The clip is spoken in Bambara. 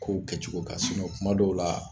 Kow kɛcogo ka kuma dɔw la